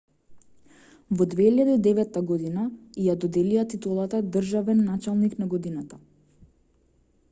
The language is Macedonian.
во 2009 година ѝ ја доделија титулата државен началник на годината